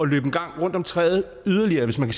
løbe en gang rundt om træet yderligere hvis man